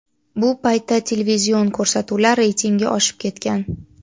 Bu paytda televizion ko‘rsatuvlar reytingi oshib ketgan.